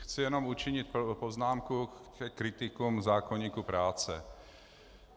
Chci jenom učinit poznámku ke kritikům zákoníku práce.